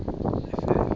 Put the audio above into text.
efele